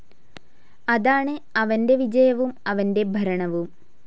അതാണ് അവൻ്റെ വിജയവും അവൻ്റെ ഭരണവും.